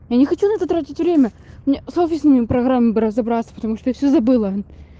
я не хочу на это тратить время мне с офисными программами бы разобраться потому что я все забыла